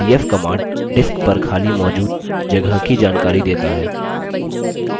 df command disk पर खाली मौजूद जगह की जानकारी देता है